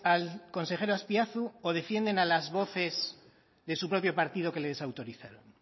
al consejero azpiazu o defienden a las voces de su propio partido que le desautorizaron